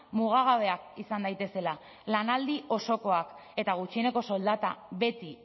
mugagabeak izan daitezela lanaldi osokoak eta gutxieneko soldata beti